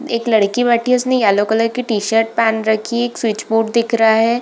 एक लड़की बैठी है उसने येलो कलर की टी-शर्ट पहन रखी है एक स्विच बोर्ड दिख रहा है ।